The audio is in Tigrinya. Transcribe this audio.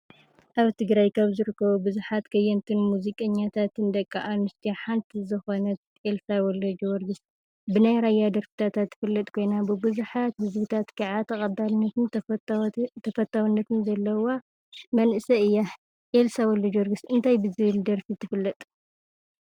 ኣብ ትግራይ ካብ ዝርከቡ ብዙሓት ከየንትን ሙዚቀኛታትን ደቂ ኣንስትዮ ሓንቲ ዝኾነት ኤልሳ ወ/ጀወርግስ ብናይ ራያ ደርፍታታ ትፍለጥ ኮይና ብቡዙሓት ህዝብታት ከዓ ተቐባልነትን ተፈታውነትን ዘለዋ መንእሰይ እያ፡፡ ኤልሳ ወ/ጀወርግስ እንታይ ብዝብል ደርፋ ትፍለጥ?